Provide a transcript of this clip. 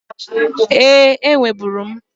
Ee, enweburu m